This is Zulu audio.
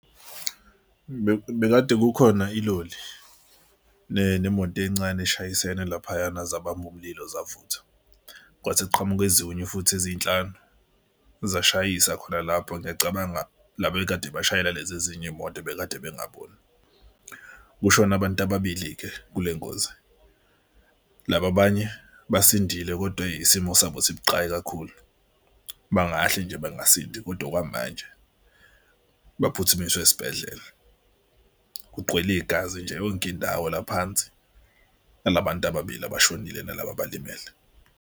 Bekade kukhona iloli nemoto encane eshayisene laphana zabamba umlilo zavutha. Kwase kuqhamuke ezinye futhi ezinhlanu zashayisa khona lapho. Ngiyacabanga laba ekade beshayela lezi ezinye iy'moto bekade bengaboni. Kushone abantu ababili-ke kule ngozi, laba abanye basindile kodwa isimo sabo sibuqayi kakhulu. Bangahle nje bengasindi kodwa okwamanje baphuthumiswe esibhedlela. Kuqwele igazi nje yonke indawo la phansi. Nala bantu ababili abashonile nalaba abalimele.